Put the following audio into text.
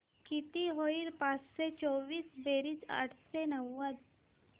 किती होईल पाचशे चोवीस बेरीज आठशे नव्वद